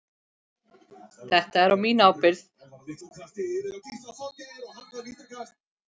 Þetta er á mína ábyrgð.